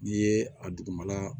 N'i ye a dugumala